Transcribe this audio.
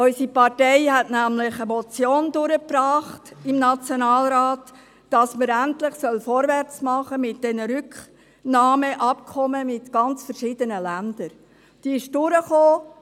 Unsere Partei brachte nämlich im Nationalrat eine Motion wonach endlich mit diesen Rücknahmeabkommen mit verschiedensten Ländern vorwärts gemacht werden soll.